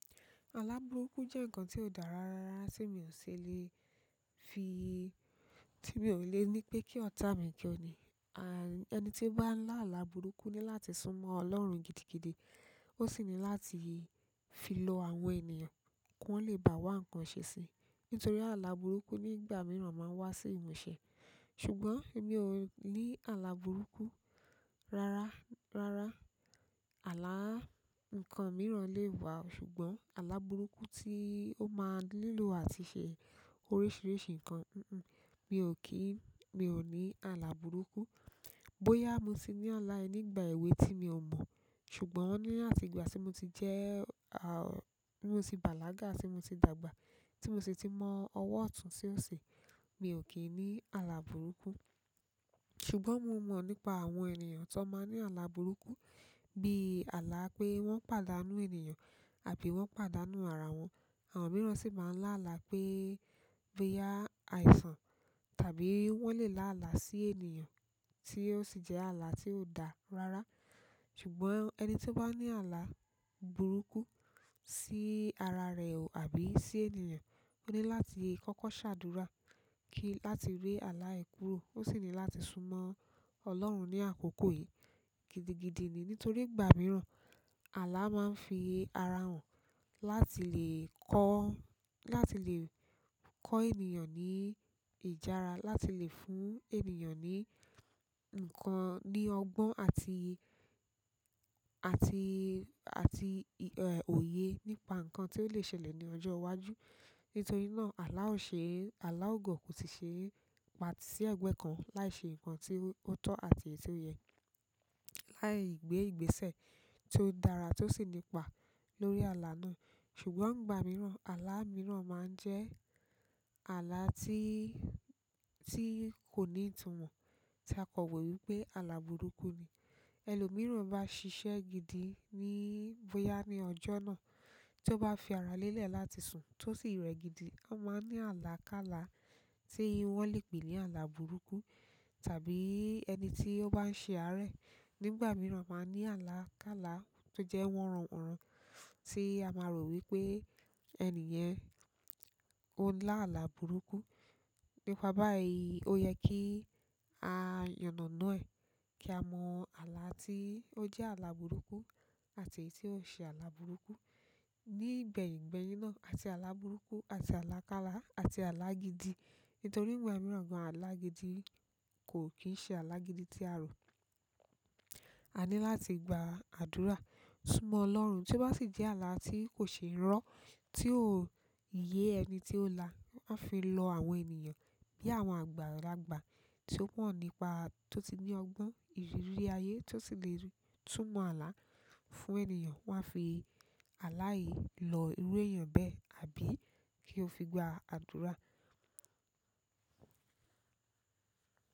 Àlà burúkú jẹ́ ǹkan tó dà rára rárá tí mi ò lè fi-- tí mi ò lè ní pé kí ọ̀tá mi jẹ́ ọ̀ní. À-- ẹni tí ó bá ń lá àlà burúkú ní láti súnmọ́ Ọlọ́run gidigidi, ó sì ní láti fi lọ àwọn ènìyàn kí wọ́n lè bá wá ǹkan ṣe si. Nítorí àlà burúkú nígbà mìíràn máa ń wá sí ìmúṣẹ. Ṣùgbọ́n èmi ò ní àlà burúkú. Rárá, rárá. Àlà ǹkan mìíràn lè wá, ṣùgbọ́n àlà burúkú tí ó máa ń nílò àti ṣe oríṣiríṣi ǹkan, un-un, mi ò kí-- mi ò ní àlà burúkú. Bóyá mo ti ní àlà yẹn nígbà èwe tí mi ò mọ̀, ṣùgbọ́n ní àtìgbà tí mo ti jẹ́, a, tí mo ti bàlágà, tí mo ti dàgbà, tí mo sì ti mọ ọwọ́ ọ̀tún tí ó ṣe, mi ò kín ní àlà burúkú. Ṣùgbọ́n mo mọ nípa àwọn ènìyàn ti wọn máa ǹ ni àlà burúkú bi àlà pé wọn pàdánù ènìyàn àbí wọn pàdánù ará wọn. Àwọn mìíràn sì máa ń lá àlà pé, bóyá àìsàn tàbí wọ́n lè lá àlà sí ènìyàn tí ó sì jẹ́ àlà tí ò dà rára. Ṣùgbọ́n ẹni tí ó bá ní àlà burúkú sí ara rẹ̀ ò àbí sí ènìyàn, ó ní láti kọ́kọ́ ṣàdúrà kí láti rí àlà yẹ̀ kúrò. Ó sì ní láti súnmọ́ Ọlọ́run ní àkókò yìí gidigidi ni. Nítorí ìgbà mìíràn àlà máa ń fi ara hàn láti lè kọ́, láti lè kọ́ ènìyàn ní ìjára, láti lè fún ènìyàn ní ǹkan, ní ọgbọ́n àti, àti, àti, ẹ, òye nípa ǹkan tí ó lè ṣẹlẹ̀ ní ọjọ́ iwájú. Nítorí náà àlà ò ṣe, àlà ò gọ̀, kò sì ṣe é patí si ẹ̀gbẹ́ kan láì ṣe ǹkan tí ó tọ́ àti èyí tí ó yẹ, láì gbé ìgbésẹ̀ tó dára tó sì nípa lórí àlà náà. Ṣùgbọ́n ìgbà mìíràn àlà mìíràn máa ń jẹ́ àlà tí, tí kò ní ìtùmọ̀ tí a kò wò wípé àlà burúkú ni. Ẹni lò mìíràn bá ṣiṣẹ́ gidi ní, bóyá ní ọjọ́ náà tí ó bá fi ara lélẹ̀ láti sùn tí ó sì rẹ̀ gidi, a máa ní àlà kálá tí wọ́n lè pè ní àlà burúkú. Tàbí ẹni tí ó bá ń ṣe àárẹ̀ nígbà mìíràn máa ní àlà kálá tó jẹ́ wọnran wọnran tí a máa rò wípé ẹni yẹn ó ń lá àlà burúkú. Nípa báyìí ó yẹ kí a yànàna ẹ̀ kí a mọ àlà tí ó jẹ́ àlà burúkú àti èyí tí ò ṣe àlà burúkú. Nígbẹ̀yìn gbẹ̀yìn náà àti àlà burúkú àti àlà kálá àti àlà gidi. Nítorí ìgbà mìíràn gan-an àlà gidi kò kì í ṣe àlà gidi tí a rò. A ní láti gba àdúrà, súnmọ́ Ọlọ́run tí ó bá sì jẹ́ àlà tí kò ṣe ń rọ́, tí ò yé ẹni tí ó lá, a fi lọ àwọn ènìyàn bí àwọn àgbàlagbà tí ó mọ́ nípa, tó ti ní ọgbọ́n, ìrírí ayé, tó sì lè túmọ̀ àlà fún ènìyàn. Wọ́n a fi àlà yìí lọ irú èèyàn bẹ́ẹ̀ àbí kí ó fi gba àdúrà.